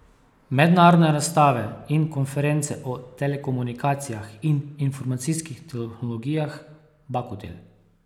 Mednarodne razstave in konference o telekomunikacijah in informacijskih tehnologijah Bakutel.